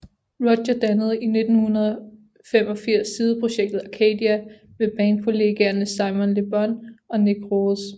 Roger dannede i 1985 sideprojektet Arcadia med band kollegaerne Simon Le Bon og Nick Rhodes